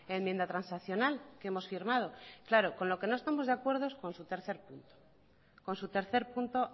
enmienda transaccional que hemos firmado claro con lo que no estamos de acuerdo es con su tercer punto con su tercer punto